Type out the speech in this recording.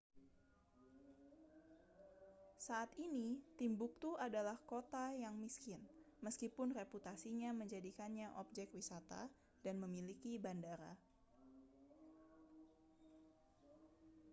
saat ini timbuktu adalah kota yang miskin meskipun reputasinya menjadikannya objek wisata dan memiliki bandara